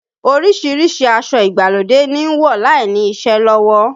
Orísìírísìí aṣọ ìgbàlódé ni ń wọ̀ láìní iṣẹ́ lọ́wọ́